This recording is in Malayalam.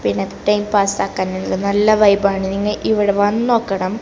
പിന്നെ ടൈം പാസാക്കാൻ ഉള്ള നല്ല വൈബ് ആണ് നിങ്ങ ഇവിടെ വന്നോക്കണം.